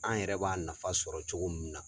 An yɛrɛ b'a nafa sɔrɔ cogo min na.